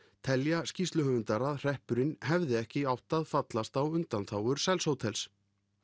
telja skýrsluhöfundar að hreppurinn hefði ekki átt að fallast á undanþágur sels hótels